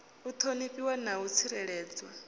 u ṱhonifhiwa na u tsireledzwa